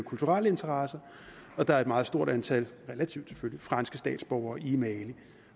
kulturelle interesser og der er et meget stort antal relativt selvfølgelig franske statsborgere i mali